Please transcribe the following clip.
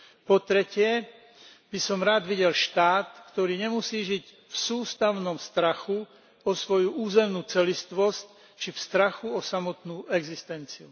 Po tretie by som rád videl štát, ktorý nemusí žiť v sústavnom strachu o svoju územnú celistvosť či v strachu o samotnú existenciu.